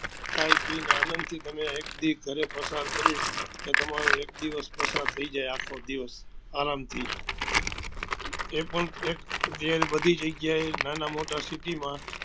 ખાઈ પી ને આણંદ થી તમે એક દી તમે ઘરે પસાર કરી તો તમારો એક દિવસ પસાર થઇ જાય આખો દિવસ આરામ થી એ પણ એક ઘેર બધી જગ્યા એ નાના મોટા city માં